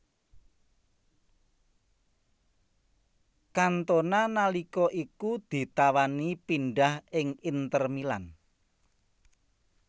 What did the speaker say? Cantona nalika iku ditawani pindhah ing Inter Milan